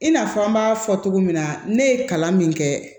I n'a fɔ an b'a fɔ cogo min na ne ye kalan min kɛ